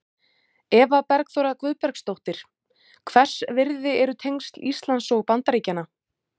Eva Bergþóra Guðbergsdóttir: Hvers virði eru tengsl Íslands og Bandaríkjanna?